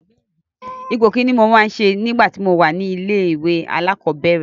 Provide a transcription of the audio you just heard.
Ipò Kínní ni mo máa ń ṣe nígbà tí mo wà ní ilé-ìwé alákọ̀ọ́bẹ̀rẹ̀.